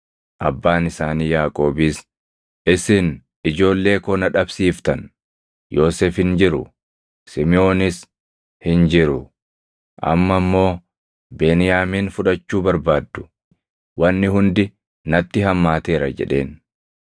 Abbaan isaanii Yaaqoobis, “Isin ijoollee koo na dhabsiiftan. Yoosef hin jiru; Simiʼoonis hin jiru. Amma immoo Beniyaamin fudhachuu barbaaddu. Wanni hundi natti hammaateera!” jedheen.